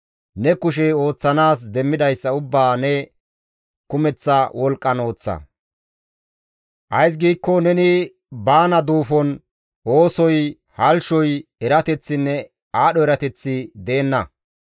Ne kushey ooththanaas demmidayssa ubbaa ne kumeththa wolqqan ooththa; ays giikko neni baana duufon oosoy, halchchoy, erateththinne aadho erateththi deenna.